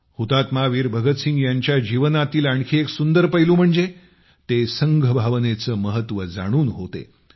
शहीद वीर भगतसिंग यांच्या जीवनातील आणखी एक सुंदर पैलू म्हणजे ते संघ भावनेचे महत्त्व जाणून होते